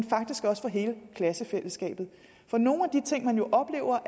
faktisk også for hele klassefællesskabet for nogle af de ting man jo oplever